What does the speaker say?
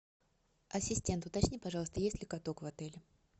ассистент уточни пожалуйста есть ли каток в отеле